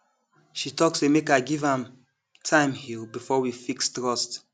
she tok say make i give m time heal before we fix trust